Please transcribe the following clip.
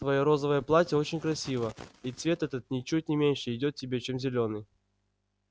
твоё розовое платье очень красиво и цвет этот ничуть не меньше идёт тебе чем зелёный